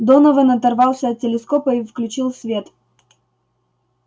донован оторвался от телескопа и включил свет